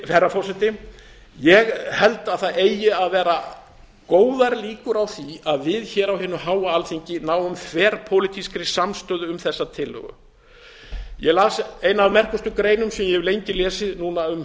herra forseta ég held að það eigi að vera góðar líkur á því að við hér á hinu háa alþingi náum þverpólitískri samstöðu um þessa tillögu ég las eina af merkustu greinum sem ég hef lengi lesið núna um